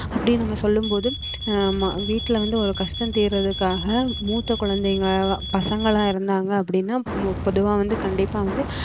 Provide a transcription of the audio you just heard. அப்படி நம்ம சொல்லும் போது ஆமா வீட்டுல வந்து ஒரு கஷ்டம் தீருறதுக்காக மூத்த குழந்தைங்க பசங்கெல்லாம் இருந்தாங்க அப்படின்னா மு~ பொதுவா வந்து கண்டிப்பா வந்து